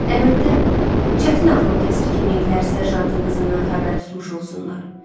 Əlbəttə, çətin ağlım kəsir ki, minqlər serjantın qızından xəbər tutmuş olsunlar.